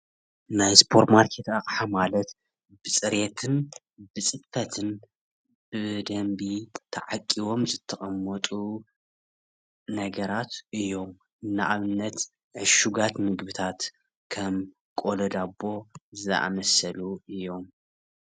ናይ ስፖርማርኬት ኣቕሓ ማለት ብፅሬትን ብፅፈትን ብደንቢ ተዓቂቦም ዝተቀመጡ ነገራት እዩም። ንኣብነት ዕሹጋት ምግብታት ከም ቆሎ ዳቦ ዝኣመሰሉ እዩም።